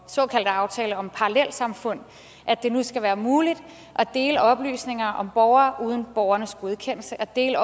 såkaldte aftale om parallelsamfund at det nu skal være muligt at dele oplysninger om borgere uden borgernes godkendelse at dele